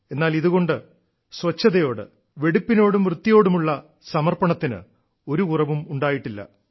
എന്നാൽ ഇതുകൊണ്ട് സ്വച്ഛതയോട് വെടിപ്പിനോടും വൃത്തിയോടുമുള്ള സമർപ്പണത്തിന് ഒരു കുറവും ഉണ്ടായിട്ടില്ല